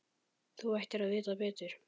Þú ættir að vita betur.